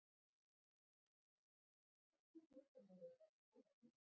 Kristjana: Hvert er leyndarmálið á bak við góða vináttu?